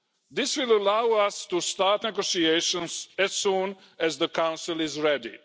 This will allow us to start negotiations as soon as the Council is ready.